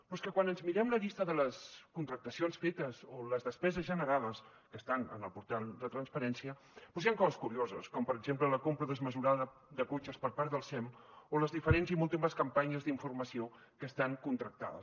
però és que quan ens mirem la llista de les contractacions fetes o les despeses generades que estan en el portal de transparència doncs hi han coses curioses com per exemple la compra desmesurada de cotxes per part del sem o les diferents i múltiples campanyes d’informació que estan contractades